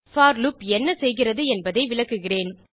போர் loop என்ன செய்கிறது என்பதை விளக்குகிறேன்